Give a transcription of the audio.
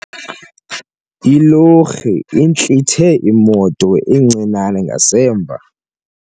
Ilori intlithe imoto encinane ngasemva.